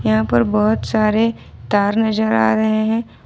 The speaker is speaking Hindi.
यहां पर बहोत सारे तार नजर आ रहे हैं।